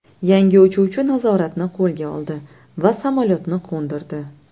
Yangi uchuvchi nazoratni qo‘lga oldi va samolyotni qo‘ndirdi.